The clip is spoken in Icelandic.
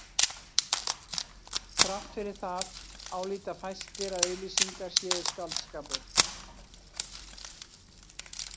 Þrátt fyrir það álíta fæstir að auglýsingar séu skáldskapur.